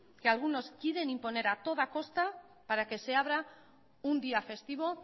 que algunos quieren imponer a toda costa para que se habrá un día festivo